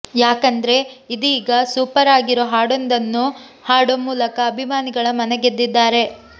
ಯಾಕಂದ್ರೆ ಇದೀಗ ಸೂಪರ್ ಆಗಿರೋ ಹಾಡೊಂದನ್ನು ಹಾಡೋ ಮೂಲಕ ಅಭಿಮಾನಿಗಳ ಮನಗೆದ್ದಿದ್ದಾರೆ